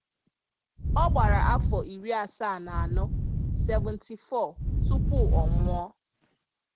Ọ gbara afọ iri asaa na anọ (74) tupu ọ nwụọ.